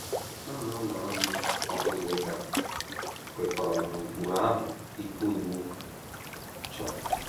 Hụ na ụlọ nri ọ bụla ị gara kwekọrọ n’ụkpụrụ ahụ́ ike iwu chọrọ.